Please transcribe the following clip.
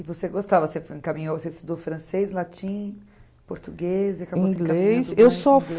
E você gostava, você encaminhou, você estudou francês, latim, português